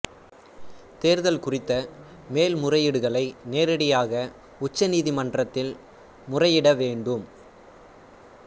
தேர்தல் குறித்த மேல் முறையீடுகளை நேரடியாக உச்ச நீதி மன்றத்தில் முறையிட வேண்டும்